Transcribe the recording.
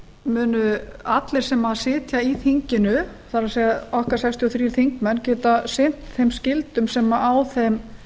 munu allir sem sitja í þinginu það er okkar sextíu og þrír þingmenn geta sinnt þeim skyldum sem á þeim